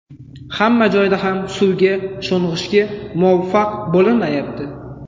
Hamma joyda ham suvga sho‘ng‘ishga muvaffaq bo‘linmayapti.